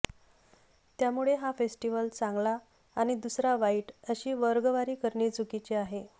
त्यामुळे हा फेस्टिवल चांगला आणि दुसरा वाईट अशी वर्गवारी करणे चुकीचे आहे